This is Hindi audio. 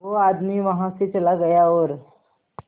वो आदमी वहां से चला गया और